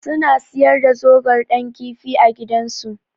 Suna siyar da zogar Dan kifi a gidansu.